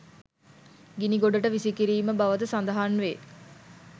ගිනි ගොඩට විසි කිරීම බවද සඳහන් වේ.